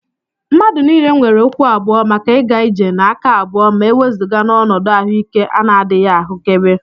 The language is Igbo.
Mmadụ niile nwere ụkwụ abụọ maka ịga ije na aka abụọ ma e wezụga n'ọnọdụ ahụike ana-adịghị ahụkebe